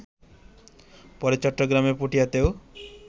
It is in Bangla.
পরে চট্টগ্রামের পটিয়াতেও